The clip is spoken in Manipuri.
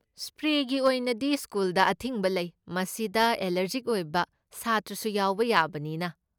ꯁ꯭ꯄ꯭ꯔꯦꯒꯤ ꯑꯣꯏꯅꯗꯤ ꯁ꯭ꯀꯨꯜꯗ ꯑꯊꯤꯡꯕ ꯂꯩ, ꯃꯁꯤꯗ ꯑꯦꯂꯔꯖꯤꯛ ꯑꯣꯏꯕ ꯁꯥꯇ꯭ꯔꯁꯨ ꯌꯥꯎꯕ ꯌꯥꯕꯅꯤꯅ꯫